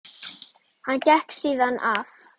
Hann gekk síðan að